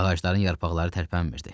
Ağacların yarpaqları tərpənmirdi.